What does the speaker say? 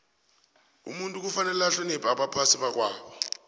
umuntu kufanele ahloniphe abaphai bakwabo